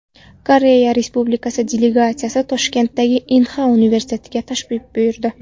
Koreya Respublikasi delegatsiyasi Toshkentdagi Inha universitetiga tashrif buyurdi.